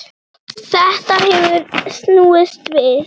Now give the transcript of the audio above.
Þetta hefur snúist við.